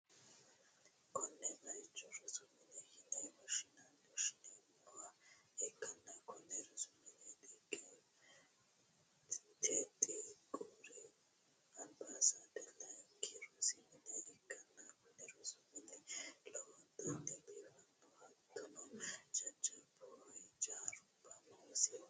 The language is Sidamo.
konne bayicho rosu mine yine woshshineemmowa ikkanna, konne rosu mineno txiqquri anbessa layiinki rosu mine ikkanna, kuni rosu mini lowontanni biifannoho, hattono jajjabbu hijarubba noosiho.